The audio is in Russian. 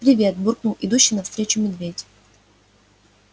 привет буркнул идущий навстречу медведь